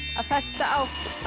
að festa á